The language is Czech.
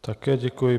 Také děkuji.